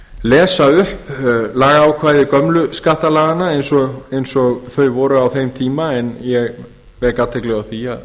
lesa upp lagaákvæði gömlu skattalaganna eins og þau voru á þeim tíma en ég vek athygli á því